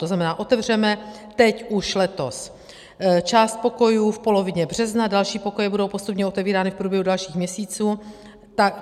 To znamená, otevřeme teď, už letos, část pokojů v polovině března, další pokoje budou postupně otevírány v průběhu dalších měsíců.